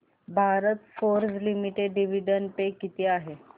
Bharat Forge Limited dividend pay किती आहे